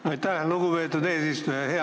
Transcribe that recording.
Aitäh, lugupeetud eesistuja!